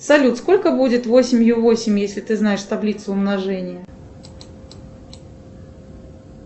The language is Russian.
салют сколько будет восемь ю восемь если ты знаешь таблицу умножения